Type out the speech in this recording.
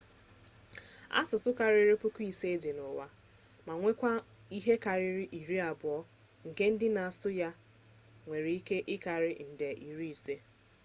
asụsụ karịrị puku ise dị n'ụwa ma nwekwaa ihe karịrị iri abụọ nke ndị na-asụ ya nwere ike ịkarị nde iri ise